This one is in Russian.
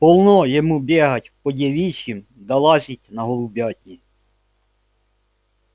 полно ему бегать по девичьим да лазить на голубятни